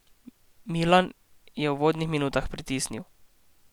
Milan je v uvodnih minutah pritisnil.